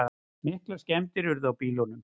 Miklar skemmdir urðu á bílunum